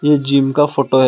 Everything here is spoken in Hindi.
ये जिम का फोटो है।